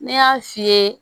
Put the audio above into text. Ne y'a f'i ye